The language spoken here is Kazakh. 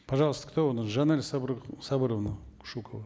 пожалуйста кто у нас жанель сабыр сабыровна кушукова